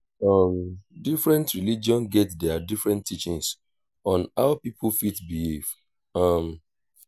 um different religion get their different teachings on how pipo fit behave um